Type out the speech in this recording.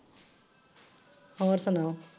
ਹੋਰ ਸੁਣਾਓ।